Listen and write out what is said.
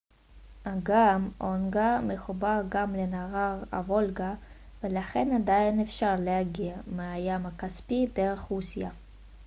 אגם אונגה מחובר גם לנהר הוולגה ולכן עדיין אפשר להגיע מהים הכספי דרך רוסיה